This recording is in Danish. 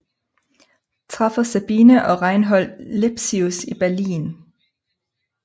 Træffer Sabine og Reinhold Lepsius i Berlin